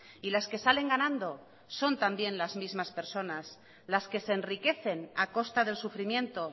y las que salen ganando son también las mismas personas las que se enriquecen a costa del sufrimiento